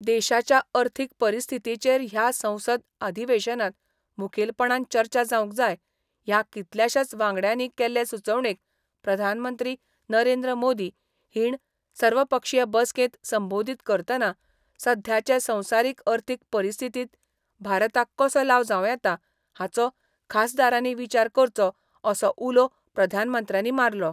देशाच्या अर्थीक परिस्थितीचेर ह्या संसद अधिवेशनांत मुखेलपणान चर्चा जावंक जाय ह्या कितल्याशाच वांगड्यांनी केल्ले सुचोवणेक प्रधानमंत्री नरेंद्र मोदी हीण सर्वपक्षीय बसकेंत संबोदीत करतना सध्याचे संवसारीक अर्थीक परिस्थितीत भारताक कसो लाव जावं येता हाचो खासदारांनी विचार करचो असो उलो प्रधानमंत्र्यांनी मारलो